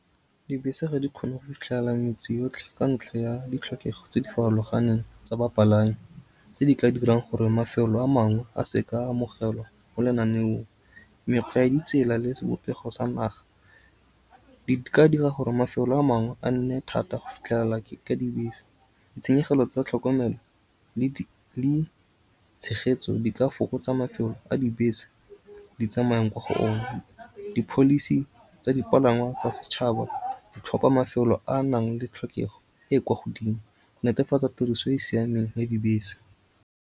Dibese ga di kgone go fitlhelela metse yotlhe ka ntlha ya ditlhokego tse di farologaneng tsa bapalami tse di ka dirang gore mafelo a mangwe a seka a amogelwa go lenaneong. Mekgwa ya di tsela le sebopego sa naga di ka dira gore mafelo a mangwe a nne thata go fitlhelela ke ka dibese. Ditshenyegelo tsa tlhokomelo le tshegetso di ka fokotsa mafelo a dibese di tsamayang kwa go one. Di-policy tsa dipalangwa tsa setšhaba ditlhopha mafelo a a nang le tlhokego e kwa godimo. Netefatsa tiriso e e siameng ya dibese.